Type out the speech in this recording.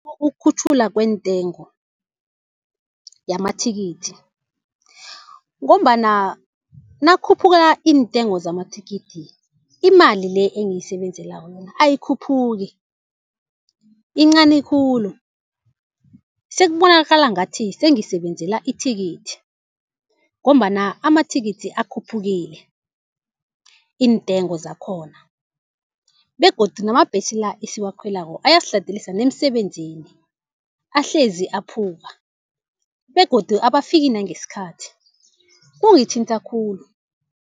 Ukukhutjhulwa kwentengo yamathikithi, ngombana nakukhuphuka iintengo zamathikithi imali le engiyisebenzelako mina ayikhuphuki, yincani khulu. Sekubonakala ngathi sengisebenzela ithikithi, ngombana amathikithi akhuphukile iintengo zakhona. Begodu namabhesi la esiwakhwelako ayasiladelisa nemsebenzini ahlezi aphuka begodu abafiki nangesikhathi. Kungithinta khulu.